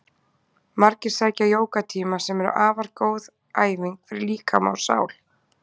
Margir sækja jógatíma sem eru afar góð æfing fyrir líkama og sál.